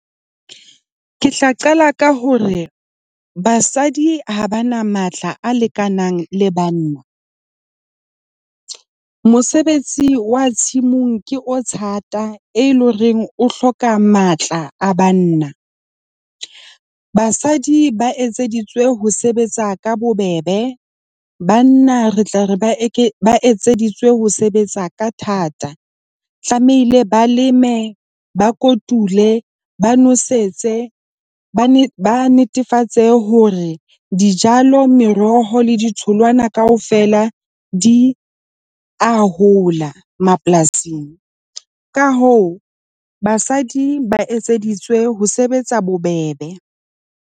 Ke tla qala ka hore basadi ha ba na matla a lekanang le banna. Mosebetsi wa tshimong ke o thata e leng horeng o hloka matla a banna. Basadi ba etseditswe ho sebetsa ka bobebe, banna re tla re ba etseditswe ho sebetsa ka thata. Tlamehile ba leme, ba kotule, ba nosetso. Ba ne ba netefatse hore dijalo, meroho le ditholwana kaofela di a hola mapolasing. Ka hoo basadi ba etseditswe ho sebetsa bobebe.